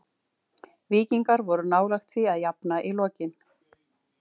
Víkingar voru nálægt því að jafna í lokin.